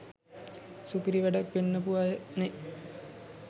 සුපිරි වැඩ පෙන්නපු අයනේ.